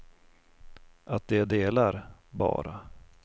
Att det är delar, bara.